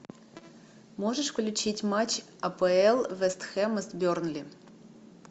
можешь включить матч апл вест хэма с бернли